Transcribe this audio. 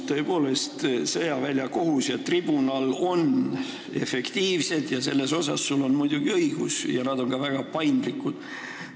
Tõepoolest, sõjaväljakohus ja tribunal on efektiivsed – selles osas sul on muidugi õigus – ja nad on ka väga paindlikud.